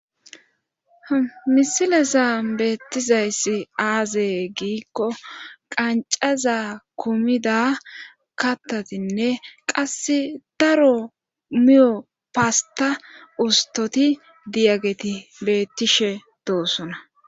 Misilesa beettizayssi aazee giikko qancaza kumida kattatinne qasse daro miyo paasta ustoti diyageti bettishe doosuna